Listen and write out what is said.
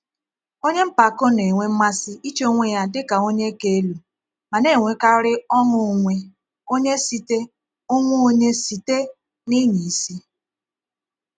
Onye mpako na-enwe mmasị iche onwe ya dị ka onye ka elu ma na-enwekarị ọṅụ onwe onye site onwe onye site n’ịnya isi.